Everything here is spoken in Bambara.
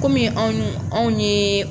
Kɔmi anw n'u anw ye